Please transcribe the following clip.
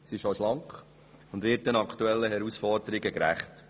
Sie ist schlank und wird den aktuellen Herausforderungen gerecht.